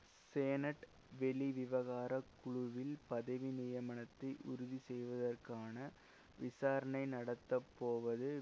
சேனட் வெளிவிவகார குழுவில் பதவி நியமனத்தை உறுதி செய்வதற்கான விசாரணை நடந்தபோவது